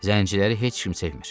Zəngçiləri heç kim sevmir.